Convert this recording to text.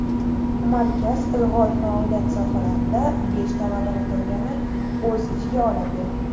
Markaz ilg‘or faoliyat sohalarida beshta laboratoriyani o‘z ichiga oladi.